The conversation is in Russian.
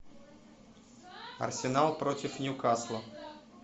арсенал против ньюкасла